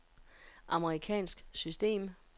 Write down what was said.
amerikansk system